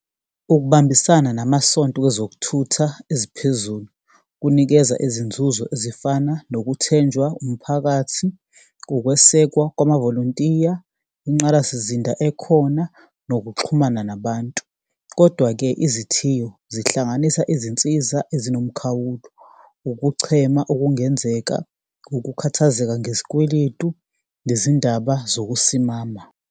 Ukubambisana namasonto kwezokuthutha eziphezulu kunikeza izinzuzo ezifana nokuthenjwa umphakathi, ukwesekwa kwamavolontiya, ingqalasizinda ekhona, nokuxhumana nabantu. Kodwa-ke izithiyo zihlanganisa izinsiza ezinomkhawulo, ukuchema okungenzeka, ukukhathazeka ngezikweletu, nezindaba zokusimama.